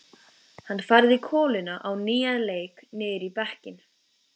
Hann færði koluna á nýjan leik niður í bekkinn.